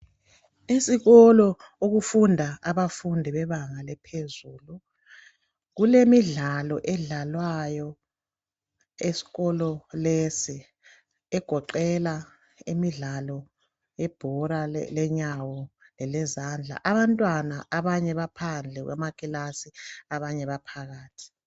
isikolo okufunda abafundi bebanga laphezulu kulemidlalo edlalwayo esikolo lesi egoqela imidlalo yebhola lenyawo lelezandla abantwana abanye baphandle kwamakilasi abanye baphakathi